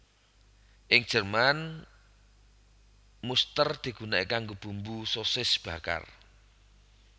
Ing Jerman muster digunakake kanggo bumbu sosis bakar